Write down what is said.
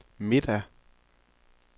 middag